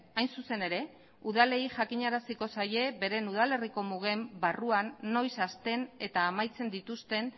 hain zuzen ere udalei jakinaraziko zaie beren udalerriko mugen barruan noiz hasten eta amaitzen dituzten